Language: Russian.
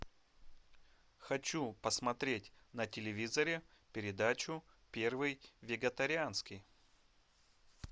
хочу посмотреть на телевизоре передачу первый вегетарианский